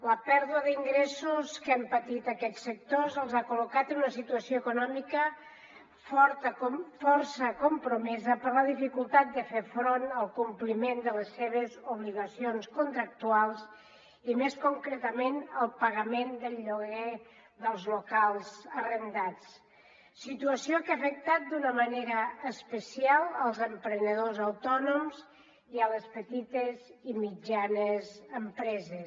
la pèrdua d’ingressos que han patit aquests sectors els ha col·locat en una situació econòmica força compromesa per la dificultat de fer front al compliment de les seves obligacions contractuals i més concretament al pagament del lloguer dels locals arrendats situació que ha afectat d’una manera especial els emprenedors autònoms i les petites i mitjanes empreses